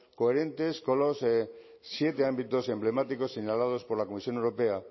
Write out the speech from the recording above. coherentes con los siete ámbitos emblemáticos señalados por la comisión europea